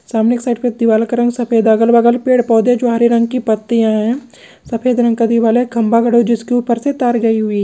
सामने के एक साइड दीवाल का रंग सफ़ेद है अगल बगल पेड़ पौधे जो हरे रंग की पत्तिया है|